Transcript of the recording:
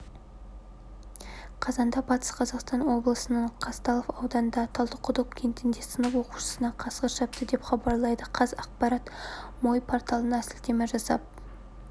қазанда батыс қазақстан облысының қазталов ауданындағы талдықұдық кентінде сынып оқушысына қасқыр шапты деп хабарлайды қазақпарат мой порталына сілтеме жасап